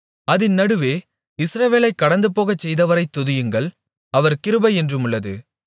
அதின் நடுவே இஸ்ரவேலைக் கடந்துபோகச் செய்தவரைத் துதியுங்கள் அவர் கிருபை என்றுமுள்ளது